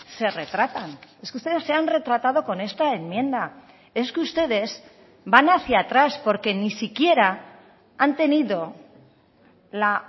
se retratan es que ustedes se han retratado con esta enmienda es que ustedes van hacia atrás porque ni siquiera han tenido la